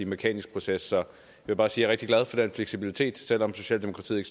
mekanisk proces jeg vil bare sige at rigtig glad for fleksibiliteten selv om socialdemokratiet